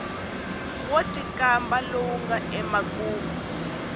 wo tikamba lowu nga emakumu